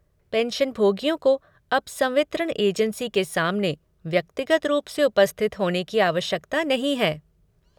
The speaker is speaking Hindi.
पेंशनभोगियों को अब संवितरण एजेंसी के सामने व्यक्तिगत रूप से उपस्थित होने की आवश्यकता नहीं है।